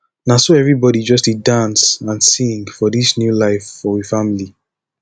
na so everybodi just dey dance and sing for dis new life for we family